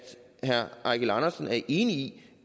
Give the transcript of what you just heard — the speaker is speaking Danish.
herre eigil andersen er enig i